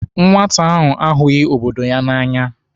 Nwata ahụ ahụghi obodo ya n'anya.